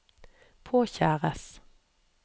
påkjæres